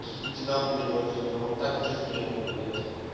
увидите на хуй отсюда он так уже сделал блять